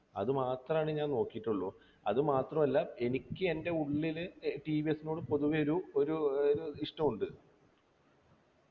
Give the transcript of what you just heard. അത് മാത്രമാണ് ഞാൻ നോക്കിട്ടുള്ളു അത് മാത്രല്ല എനിക്ക് എൻ്റെ ഉള്ളില് ഏർ ടി വി എസ് നോട് പൊതുവെ ഒരു ഒരു ഒരു ഇഷ്ടണ്ട്